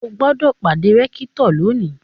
O gbọ́dọ̀ pàdé rẹ́kítọ̀ lónìí!